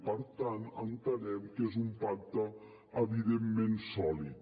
per tant entenem que és un pacte evidentment sòlid